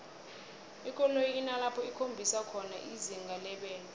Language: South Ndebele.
ikoloyi inalapho ikhombisa khona izinga lebelo